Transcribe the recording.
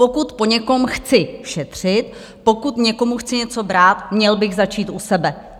Pokud po někom chci šetřit, pokud někomu chci něco brát, měl bych začít u sebe.